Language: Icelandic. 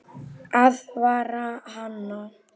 Aðvarar hana.